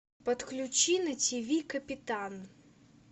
подключи на тиви капитан